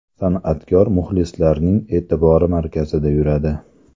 San’atkor muxlislarning e’tibori markazida yuradi.